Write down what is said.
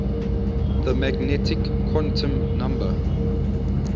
the magnetic quantum number